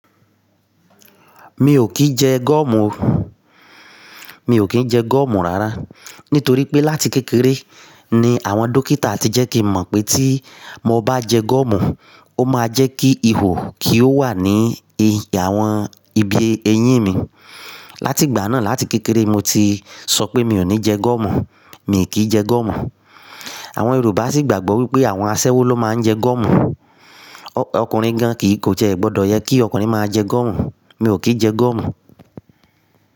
Mi ò kì í jẹ goọ́mù o. Mi ò kí jẹ goọ́mù rárá. Nítorí pé láti kékeré ni àwọn dókítà ti jẹ́ kí mọ̀ pé tí mo bá jẹ gúọ́mù, ó máa jẹ́ kí ihò kí ó wà ní i àwọn ibi eyín mi. Láti ìgbà náà, láti kékeré mo ti sọ pé mi ò ní jẹ gúọ́mù. Mi kì í jẹ goọ́mù. Àwọn Yorùbá sì gbàgbọ́ wípé àwọn aṣẹ́wó ló máa ń jẹ gúọ́mù. Ọkùnrin gan kì í kó jẹ, gbọdọ yẹ kí ọkùnrin máa jẹ gúọ́mù. Mi ò kí jẹ goọ́mù.